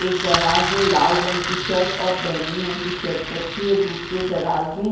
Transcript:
एक दराज में लाल रंग की शर्ट अ बैंगनी रंग की शर्ट रखी है दूसरे दराज में--